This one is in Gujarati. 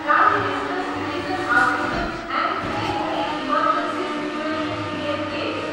prime ministers citizen assistance and relief in emergency situation P M cares